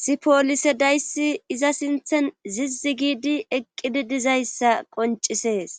si poolise dayssi iza sinthen zizzi giidi eqqidi dizayssa qoncisees